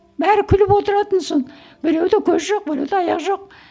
бәрі күліп отыратын сол біреуде көз жоқ біреуде аяқ жоқ